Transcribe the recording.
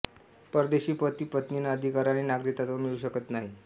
परदेशी पती पत्नींना अधिकाराने नागरिकत्व मिळू शकत नाही